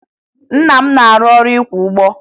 Nna m na-arụ ọrụ ịkwa ụgbọ